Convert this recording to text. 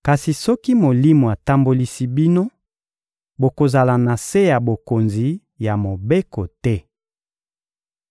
Kasi soki Molimo atambolisi bino, bokozala na se ya bokonzi ya Mobeko te.